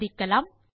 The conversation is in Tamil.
சோதிக்கலாம்